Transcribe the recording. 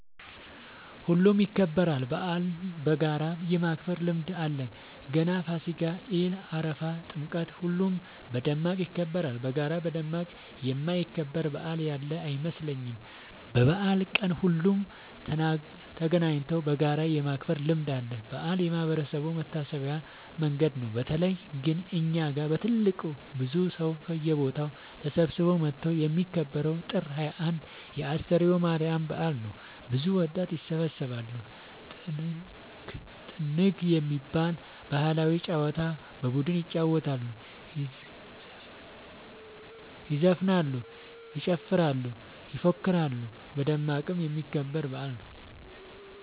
ሁሉም ይከበራል። በአልን በጋራ የማክበር ልምድ አለን ገና ፋሲካ ኢድ አረፋ ጥምቀት ሁሉም በደማቅ ይከበራሉ። በጋራ በደማቅ የማይከበር በአል ያለ አይመስለኝም። በበአል ቀን ሁሉም ተገናኘተው በጋራ የማክበር ልምድ አለ። በአል የማህበረሰቡ መሰብሰቢያ መንገድ ነው። በተለይ ግን እኛ ጋ በትልቁ ብዙ ሰው ከየቦታው ተሰብስበው መተው የሚከበረው ጥር 21 የ አስተርዮ ማርያም በአል ነው። ብዙ ወጣት ይሰባሰባሉ። ጥንግ የሚባል ባህላዊ ጨዋታ በቡድን ይጫወታሉ ይዘፍናሉ ይጨፍራሉ ይፎክራሉ በደማቁ የሚከበር በአል ነው።